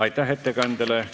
Aitäh ettekandjale!